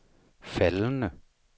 faldende